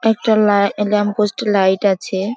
একটা লা lamp post এ লাইট আছে ।